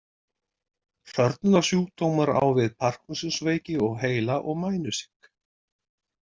Hrörnunarsjúkdómar á við Parkinsonsveiki og heila- og mænusigg.